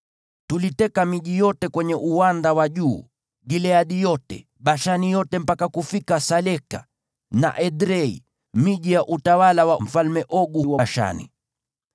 Tuliteka miji yote kwenye uwanda wa juu, Gileadi yote, Bashani yote mpaka kufika Saleka na Edrei, miji ya utawala wa Ogu huko Bashani.